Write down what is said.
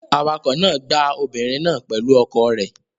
Awakọ̀ náà gbá obìnrin náà pẹ̀lú ọkọ̀ rẹ̀.